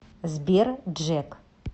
сбер джек